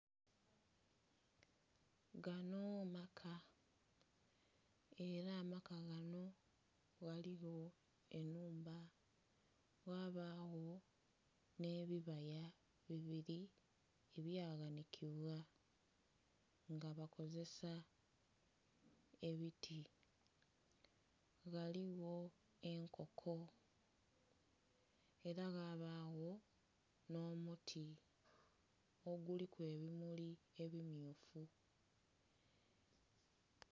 Ganho maka era amaka ganho ghaligho enhumba ghabagho nhe bibaya ebiri ebya ghanhikibwa nga bakozesa ebiti, ghaligho enkoko era ghabagho nho muti oguliku ebimuli ebimyufu.